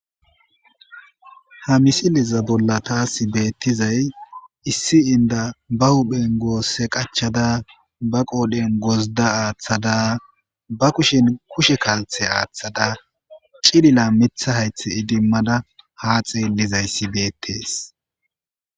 Ha misiliza bolla taasi beettizay issi inda ba huphen goosse qachada ba qoodhen gozda aaththada ba kushin kushe kalthe aaththada cilila mitha haythe idimmada ha xeellizayssi beettees